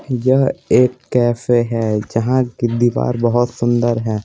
यह एक कैफे है जहाँ की दीवार बहुत सुंदर है।